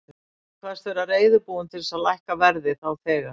Ég kvaðst vera reiðubúinn til þess að lækka verðið þá þegar.